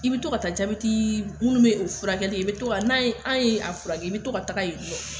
I bɛ to ka taa jabɛti munnu bɛ o furakɛ, i bɛ to ka taa n' an ye a fura kɛ , i bɛ toɲka taga yen.